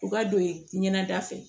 U ka don ye ɲɛnɛ da fɛ